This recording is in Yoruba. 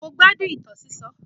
Mo gbádùn ìtàn sísọ.